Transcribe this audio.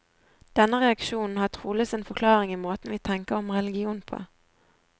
Denne reaksjonen har trolig sin forklaring i måten vi tenker om religion på.